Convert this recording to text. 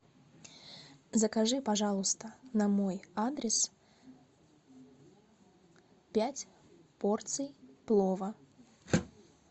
закажи пожалуйста на мой адрес пять порций плова